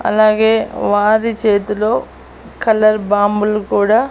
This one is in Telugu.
అలాగే వారి చేతిలో కలర్ బాంబులు కూడా.